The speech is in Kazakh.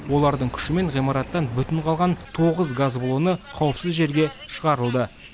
олардың күшімен ғимараттан бүтін қалған тоғыз газ баллоны қауіпсіз жерге шығарылды